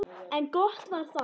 En gott var það.